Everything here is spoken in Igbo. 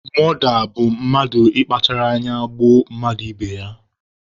Mọda bụ mmadụ mmadụ ị kpachara anya gbuo mmadụ ibe ya.